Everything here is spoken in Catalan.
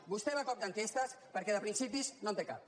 vostè va a cop d’enquestes perquè de principis no en té cap